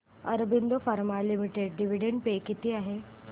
Aurobindo pharma limited dividend pay किती आहे